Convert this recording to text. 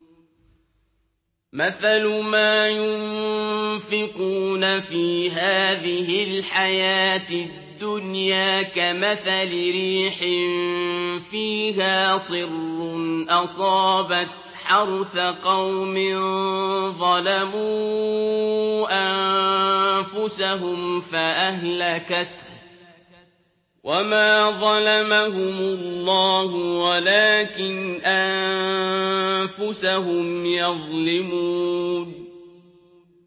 مَثَلُ مَا يُنفِقُونَ فِي هَٰذِهِ الْحَيَاةِ الدُّنْيَا كَمَثَلِ رِيحٍ فِيهَا صِرٌّ أَصَابَتْ حَرْثَ قَوْمٍ ظَلَمُوا أَنفُسَهُمْ فَأَهْلَكَتْهُ ۚ وَمَا ظَلَمَهُمُ اللَّهُ وَلَٰكِنْ أَنفُسَهُمْ يَظْلِمُونَ